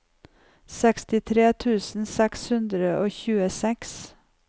sekstitre tusen seks hundre og tjueseks